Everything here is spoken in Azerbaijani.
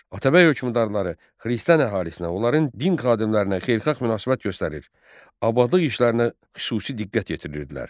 Atabəy hökmdarları xristian əhalisinə, onların din xadimlərinə xeyirxah münasibət göstərir, abadlıq işlərinə xüsusi diqqət yetirirdilər.